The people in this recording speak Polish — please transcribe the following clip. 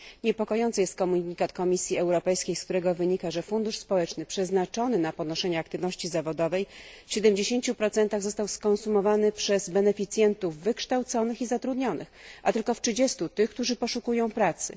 Niepokojący jest komunikat Komisji Europejskiej, z którego wynika, że fundusz społeczny przeznaczony na podnoszenie aktywności zawodowej w 70 został skonsumowany przez beneficjentów wykształconych i zatrudnionych, a tylko w 30 przez tych, którzy poszukują pracy.